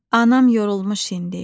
Anam yorulmuş indi.